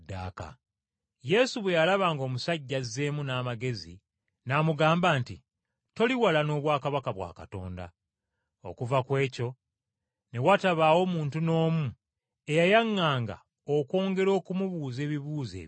Yesu bwe yalaba ng’omusajja azzeemu n’amagezi n’amugamba nti, “Toli wala n’obwakabaka bwa Katonda.” Okuva ku ekyo ne watabaawo muntu n’omu eyayaŋŋanga okwongera okumubuuza ebibuuzo ebirala.